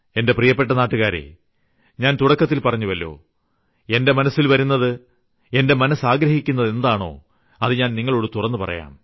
എന്റെ പ്രിയപ്പെട്ട നാട്ടുകാരേ ഞാൻ തുടക്കത്തിൽ പറഞ്ഞുവല്ലോ എന്റെ മനസ്സിൽ വരുന്നത് എന്റെ മനസ്സ് ആഗ്രഹിക്കുന്നത് എന്താണോ അത് നിങ്ങളോട് തുറന്ന് പറയാം